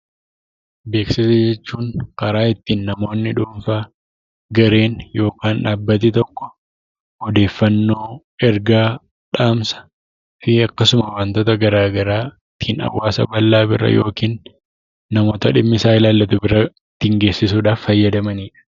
Beeksisa jechuun karaa ittiin namoonni dhuunfaa, gareen yookaan dhaabbati tokko odeeffannoo, ergaa, dhaamsa akkasuma wantoota garaa garaa ittiin hawaasa bal'aa bira yookiin namoota dhimmisaa ilaallatu bira ittiin geessisuudhaaf fayyadamanidha.